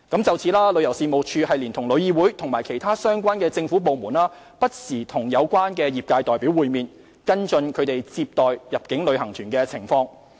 就此，旅遊事務署連同旅議會及其他相關政府部門，不時與有關業界代表會面，跟進其接待入境旅行團的情況。